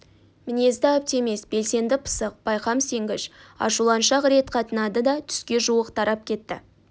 мінезді оптимист белсенді пысық байқам сенгіш ашуланшақ рет қатынады да түске жуық тарап кетті